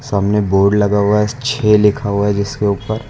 सामने बोर्ड लगा हुआ है छह लिखा हुआ है जिसके ऊपर।